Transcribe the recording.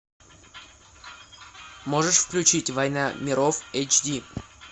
можешь включить война миров эйч ди